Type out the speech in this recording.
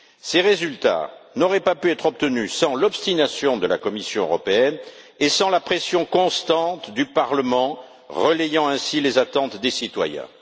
Ces résultats n'auraient pas pu être obtenus sans l'obstination de la Commission européenne et sans la pression constante du Parlement, qui a ainsi relayé les attentes des citoyens.